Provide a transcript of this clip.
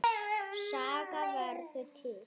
Saga verður til